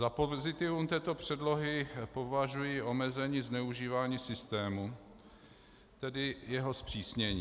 Za pozitivum této předlohy považuji omezení zneužívání systému, tedy jeho zpřísnění.